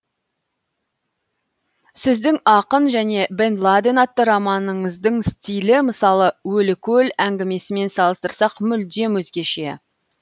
сіздің ақын және бен ладен атты романыңыздың стилі мысалы өлі көл әңгімесімен салыстырсақ мүлдем өзгеше